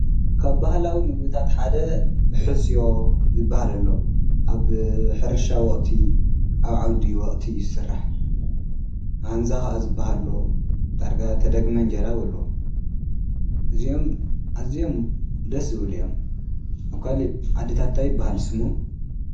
ካብ ባህላዊ ምግብታት ሓደ ሕስዮ ዝበሃል ኣሎ ኣብ ሕርሻ ወቕቲ ኣብ ዓውዲ ወቕቲ አዩ ዝሥራሕ፡፡ ሃንዛ ኻዓ ዝበሃለ ሎ ዳርጋ ተደግመ እንጀራ በልዎ እዚኦም እዝኦም ደስ ዝብሉ እዮም፡፡ ኣብ ካሊእ ዓድታት ታይ ይበሃል ስሞም?